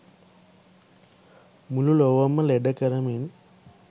මුළු ලොවම ලෙඩ කරමින්